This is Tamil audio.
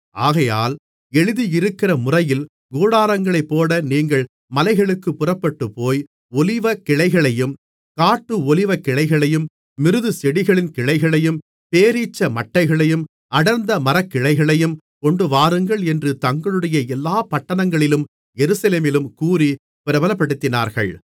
ஆகையால் எழுதியிருக்கிறமுறையில் கூடாரங்களைப் போட நீங்கள் மலைகளுக்குப் புறப்பட்டுப்போய் ஒலிவக்கிளைகளையும் காட்டு ஒலிவக்கிளைகளையும் மிருதுச் செடிகளின் கிளைகளையும் பேரீச்ச மட்டைகளையும் அடர்ந்த மரக்கிளைகளையும் கொண்டுவாருங்கள் என்று தங்களுடைய எல்லா பட்டணங்களிலும் எருசலேமிலும் கூறிப் பிரபலப்படுத்தினார்கள்